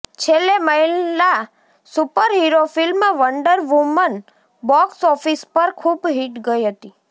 છેલ્લે મહિલા superhero film Wonder Woman box office પર ખૂબ હિટ ગઇ હતી